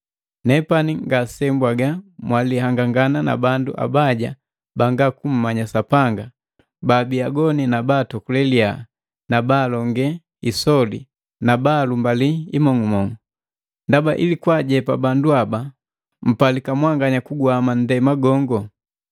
Nepani ngasebwaga mwalihangangana na bandu abaja banga kummanya Sapanga baabi agoni na baatokule liyaha na baalonge isoli na baalumbali imong'umong'u. Ndaba ili kwaajepa bandu haba mpalika mwanganya kuguhama ndema gongo.